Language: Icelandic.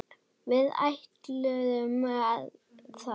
Við ætluðum það.